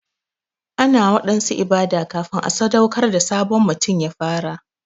Ana waɗansu ibada kafin a sadaukar da sabon mutum ya fara.